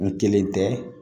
N kelen tɛ